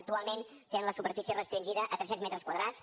actualment tenen la superfície restringida a tres cents metres quadrats